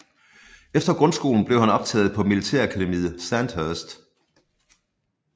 Efter grundskolen blev han optaget på militærakademiet Sandhurst